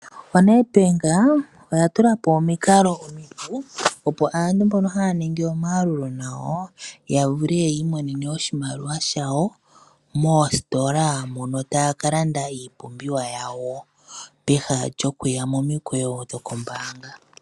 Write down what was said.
ONEDBANK oya tulapo omikalo omipu, opo nduno aantu mbono haa ningi omayalulo nayo, ya vule okwiimonena oshimaliwa shawo, moositola mono taa kalanda iipumbiwa yawo, pehala lyokuya momikweyo dhombaanga.